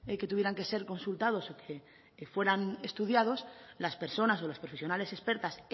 que tuvieran que ser consultados o que fueran estudiados las personas o las profesionales expertas